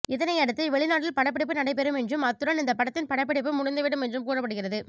இதனையடுத்து வெளிநாட்டில் படப்பிடிப்பு நடைபெறும் என்றும் அத்துடன் இந்த படத்தின் படப்பிடிப்பு முடிந்துவிடும் என்றும் கூறப்படுகிறது